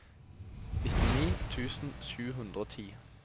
nittini tusen sju hundre og ti